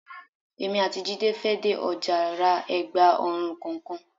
Èmi àti Jídé fẹ́ dé ọjà ra ẹ̀gba ọrùn kọ̀ọ̀kan.